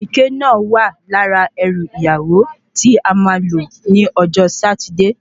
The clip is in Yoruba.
Ìrèké náà wà lára erù ìyàwó tí a ma lò ní ọjọ́ Sátidé